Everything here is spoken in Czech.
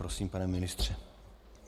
Prosím, pane ministře.